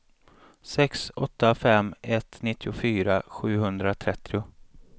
sex åtta fem ett nittiofyra sjuhundratrettio